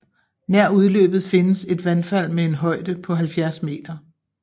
Nær udløbet findes et vandfald med en højde på 70 m